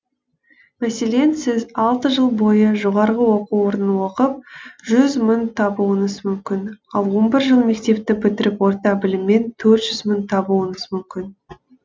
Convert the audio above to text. мәселен сіз алты жыл бойы жоғарғы оқу орнын оқып жүз мың табуыңыз мүмкін ал он бір жыл мектепті бітіріп орта біліммен төрт жүз мың табуыңыз мүмкін